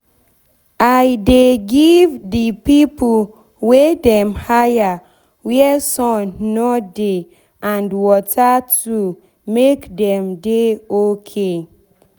i dey give de pipo wey dem hire where sun nor dey and water to make dem dey ok